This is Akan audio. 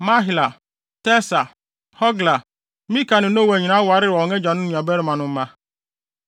Mahla, Tirsa, Hogla, Milka ne Noa nyinaa wareware wɔn agyanom nuabarimanom mma.